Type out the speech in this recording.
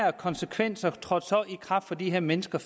og konsekvenserne trådte så i kraft for de her mennesker